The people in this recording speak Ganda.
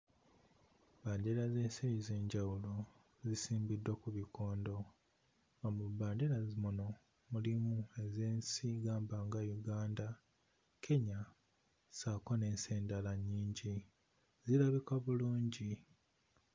Bbendera z'ensi ez'enjawulo zisimbiddwa ku bikondo, nga mu bbendera muno mulimu ez'ensi gamba nga Uganda, Kenya ssaako n'ensi endala nnyingi zirabika bulungi.